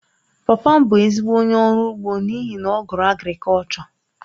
Papa m bụ ezigbo onye ọrụ ugbo n’ihi na ọ gụrụ agrikọlchọ..